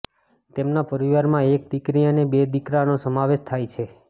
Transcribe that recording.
તેમના પરિવારમાં એક દિકરી અને બે દિકરાનો સમાવેશ થાય છે